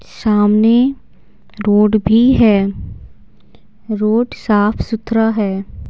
सामने रोड भी है रोड साफ-सुथरा है।